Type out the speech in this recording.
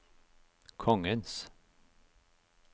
kongens